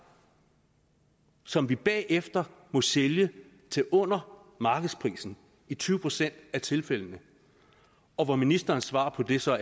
og som vi bagefter må sælge til under markedsprisen i tyve procent af tilfældene og ministerens svar på det er så